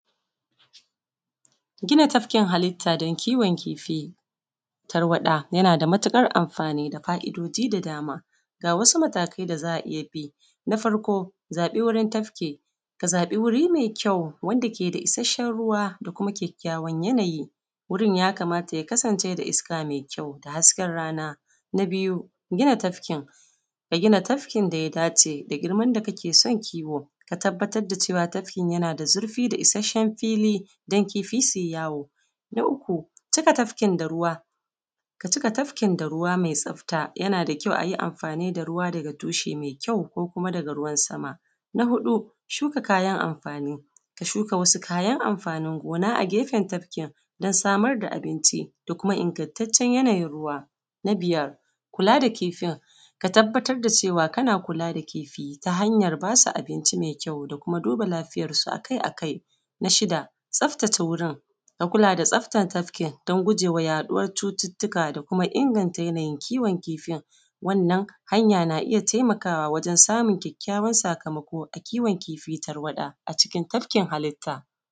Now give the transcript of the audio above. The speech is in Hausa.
Gina tafkin halitta da kiwon kifi, talwaɗa yana da matukar amfani da fa'idoji da dama, akwai matakai da za a iya bi. Na farko zaɓi wurin tafki, ka zaɓi wuri mai ƙyau wanda yake da isasshen ruwa da kuma ƙyaƙƙyawan yanayi wurin ya kamata ya kasance da iska mai ƙyau da hasken rana. Na biyu gina tafki, a gina tafkin da ya dace da girman da kake son kifin ka tabbatar da cewa tafkin yana da zurfi da isasshen fili don kifin su yi yawo. Na uku cika tafkin da ruwa ka cika tafkin da ruwa mai tsafta ,a yi amfani da ruwa daga tushe mai ƙyau ko daga ruwan sama. Na huɗu shuka kayan amfani, ka shuka kayan amfani gona a gefen tafkin don samar da abinci da Kuma ingantaccen yanayin ruwa. Na biyar kula da kifin ka kuma tabbatar da cewa kana kula da kifinta hanyar ba su abinci mai ƙyau da kuma duba lafiyarsu a kai a kai na shida tsaftace wurin ka tabbatar da yana da tsafta tafkin da guje wa yaɗuwar cututtukan da kuma inganta yanayin kiwon kifin. Wannan hanya na iya taimakawa wajen samun ƙyaƙƙyawan sakamako na kiwon kifi tarwaɗa a cikin tafkin halitta